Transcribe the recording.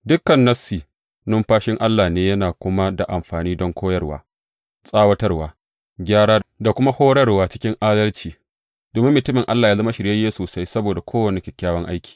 Dukan Nassi numfashin Allah ne yana kuma da amfani don koyarwa, tsawatarwa, gyara da kuma horarwa cikin adalci, domin mutumin Allah yă zama shiryayye sosai saboda kowane kyakkyawan aiki.